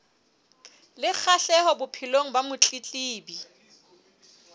le kgahleho bophelong ba motletlebi